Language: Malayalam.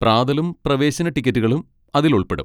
പ്രാതലും പ്രവേശന ടിക്കറ്റുകളും അതിൽ ഉൾപ്പെടും.